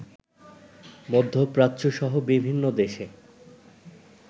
মধ্যপ্রাচ্যসহ বিভিন্ন দেশে